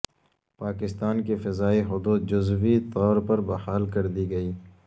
پاکستان کی فضائی حدود جزوی طور پر بحال کر دی گئی